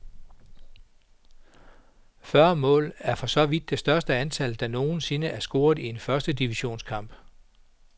Fyrre mål er så vidt vides det største antal, der nogensinde er scoret i en første divisionskamp.